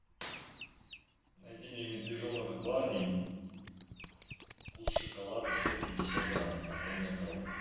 найди мне медвежонок барни вкус шоколада сто пятьдесят грамм картонная коробка